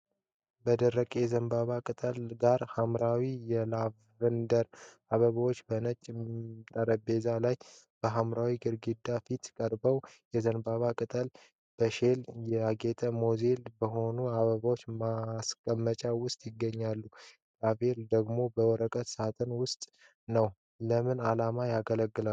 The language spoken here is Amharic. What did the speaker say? ከደረቁ የዘንባባ ቅጠል ጋር ሐምራዊ የላቬንደር አበባዎች በነጭ ጠረጴዛ ላይ በሐምራዊ ግድግዳ ፊት ቀርበዋል። የዘንባባው ቅጠል በሼል ያጌጠ ሞዛይክ በሆነ አበባ ማስቀመጫ ውስጥ ይገኛል። ላቬንደሩ ደግሞ በወረቀት ሳጥን ውስጥ ነው። ለምን ዓላማ ያገለግላሉ?